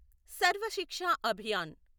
Sarva Shiksha Abhiyan